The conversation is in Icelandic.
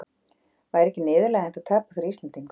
Væri ekki niðurlægjandi að tapa fyrir Íslendingum?